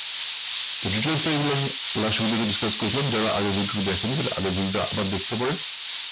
তো কিছু discuss করেছিলাম যারা আগের video টি দেখেনি but আগের দিনটা আবার দেখতে পারেন।